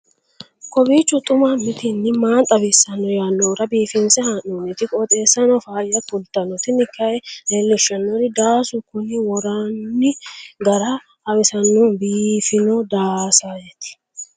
kowiicho xuma mtini maa xawissanno yaannohura biifinse haa'noonniti qooxeessano faayya kultanno tini kayi leellishshannori daasu kuni worranni gara hawisannno biifino daaseeti